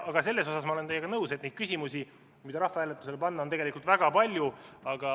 Aga selles olen ma teiega nõus, et neid küsimusi, mida rahvahääletusele panna, on tegelikult väga palju.